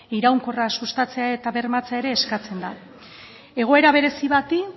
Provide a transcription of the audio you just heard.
iraunkorra sustatzea eta bermatzea ere eskatzen da egoera berezi bati